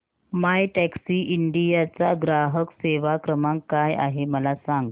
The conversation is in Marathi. मायटॅक्सीइंडिया चा ग्राहक सेवा क्रमांक काय आहे मला सांग